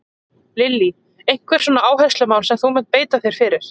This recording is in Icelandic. Lillý: Einhver svona áherslumál sem að þú munt beita þér fyrir?